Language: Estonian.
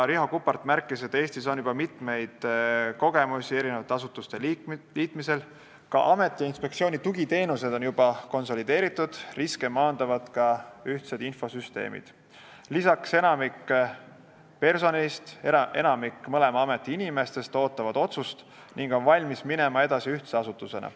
Riho Kuppart märkis, et Eestis on mitmeid kogemusi asutuste liitmisel, ameti ja inspektsiooni tugiteenused on juba konsolideeritud, riske maandavad ka ühtsed infosüsteemid, enamik personalist, mõlema ameti inimestest ootavad otsust ning on valmis minema edasi ühtse asutusena.